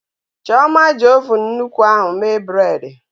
Chioma ji ovun nnukwu ahụ mee bredị.